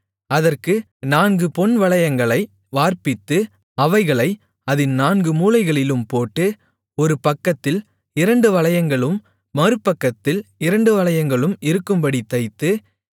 அதற்கு நான்கு பொன் வளையங்களை வார்ப்பித்து அவைகளை அதின் நான்கு மூலைகளிலும் போட்டு ஒரு பக்கத்தில் இரண்டு வளையங்களும் மறுபக்கத்தில் இரண்டு வளையங்களும் இருக்கும்படித் தைத்து